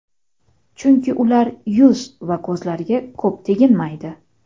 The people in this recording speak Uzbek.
chunki ular yuz va ko‘zlariga ko‘p teginmaydi.